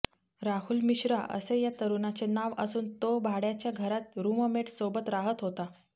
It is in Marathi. राहुल मिश्रा असे या तरुणाचे नाव असून तो भाड्याच्या घरात रुममेट सोबत राहत होता